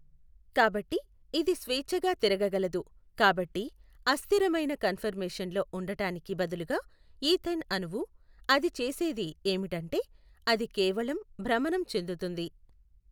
కాబట్టి ఇది స్వేచ్ఛగా తిరగగలదు కాబట్టి అస్థిరమైన కన్ఫర్మేషన్ లో ఉండటానికి బదులుగా ఈథేన్ అణువు, అది చేసేది ఏమిటంటే, అది కేవలం భ్రమణం చెందుతుంది.